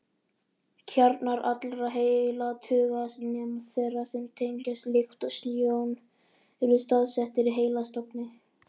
Kjarnar allra heilatauga, nema þeirra sem tengjast lykt og sjón, eru staðsettir í heilastofni.